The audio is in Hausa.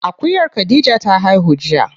Akuyar khadija ta haihu jiya.